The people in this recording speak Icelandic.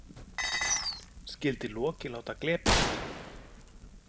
Skyldi Loki láta glepjast?